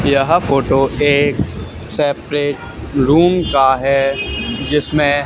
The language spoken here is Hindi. यह फोटो एक सेपरेट रूम का है जिसमें--